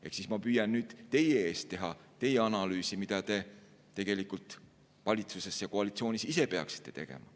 Ehk siis ma püüan nüüd teie eest teha teie analüüsi, mida te tegelikult valitsuses ja koalitsioonis ise peaksite tegema.